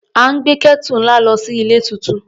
À ń gbé Kẹ́tù náà lọ sí ilé tuntun.